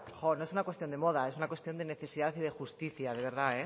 no es una cuestión de moda es una cuestión de necesidad y de justicia de verdad